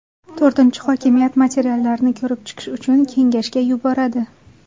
To‘rtinchi , hokimiyat materiallarni ko‘rib chiqish uchun kengashga yuboradi.